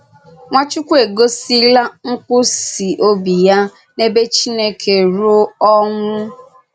Nwàchùkwù ègòsìlà nkwụsì òbì ya n’èbè Chìnèkè rūò ọnwụ́.